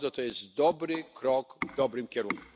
Jest to dobry krok w dobrym kierunku.